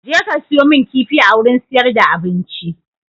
Jeka siyo mun kifi a wurin siyar da abinci!